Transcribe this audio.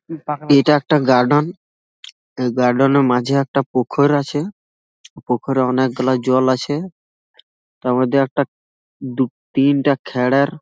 এটা একটা গার্ডেন এ গার্ডেন - এর মাঝে একটা পুখুর আছে পুখুরে অনেকগুলা জল আছে। তার মধ্যে একটা দু তিনটা খ্যারের--